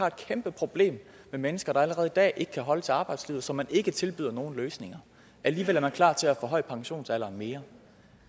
et kæmpe problem med mennesker der allerede i dag ikke kan holde til arbejdslivet og som man ikke tilbyder nogen løsninger alligevel er man klar til at forhøje pensionsalderen mere